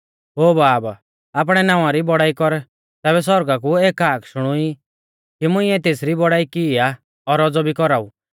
ओ बाब आपणै नावां री बौड़ाई कर तैबै सौरगा कु एक हाक शुणुई कि मुंइऐ तेसरी बौड़ाई की आ और औज़ौ भी कौराऊ